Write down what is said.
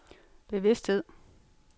bevidsthed